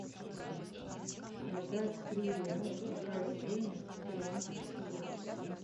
продать три реала какая стоимость в перуанских солях